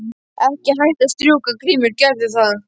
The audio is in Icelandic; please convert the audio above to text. Ekki hætta að strjúka Grímur gerðu það.